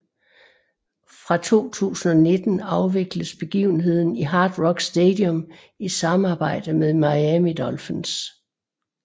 Fra 2019 afvikles behgivenheden i Hard Rock Stadium i samarbejde med Miami Dolphins